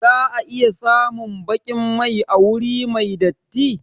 Za a iya samun baƙin mai a wuri mai datti